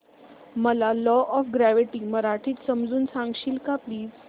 मला law of gravity मराठीत समजून सांगशील का प्लीज